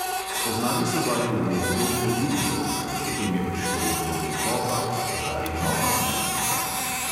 Spoznali so vaju v obdobju turbofolka, potem je prišlo obdobje popa, zdaj nova smernica ...